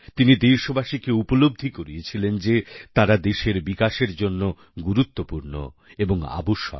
তিনি দেশবাসীকে উপলব্ধি করিয়েছিলেন যে তারা দেশের বিকাশের জন্য গুরুত্বপূর্ণ এবং আবশ্যক